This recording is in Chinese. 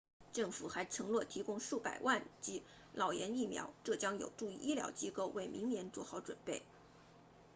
政府还承诺提供数百万剂脑炎疫苗这将有助于医疗机构为明年做好准备